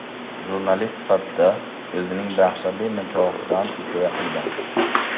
Jurnalist sifatida o‘zining dahshatli nikohidan hikoya qilgan.